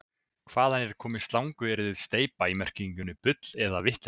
Hvaðan er komið slanguryrðið steypa í merkingunni bull eða vitleysa?